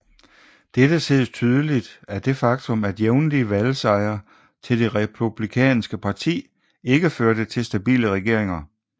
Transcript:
Dette ses tydeligt af det faktum at jævnlige valgsejre til det republikanske parti ikke førte til stabile regeringer